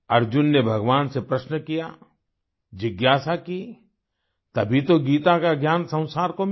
अर्जुन ने भगवान से प्रश्न किया जिज्ञासा की तभी तो गीता का ज्ञान संसार को मिला